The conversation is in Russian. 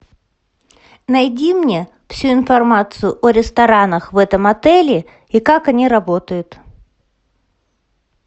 найди мне всю информацию о ресторанах в этом отеле и как они работают